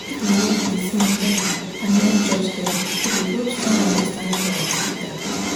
if we hear person well and no judge dem e dey build strong understanding for hospital.